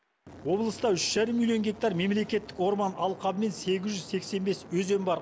облыста үш жарым милион гектар мемлекеттік орман алқабы мен сегіз жүз сексен бес өзен бар